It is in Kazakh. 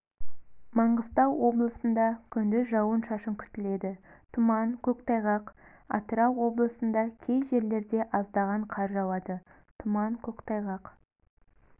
маңғыстау облысында күндіз жауын-шашын күтіледі тұман көктайғақ атырау облысында кей жерлерде аздаған қар жауады тұман көктайғақ